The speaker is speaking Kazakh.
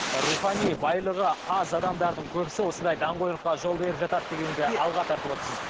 рухани байлығы аз адамдардың көбісі осындай даңғойлыққа жол беріп жатады дегенді алға тартып отырсыз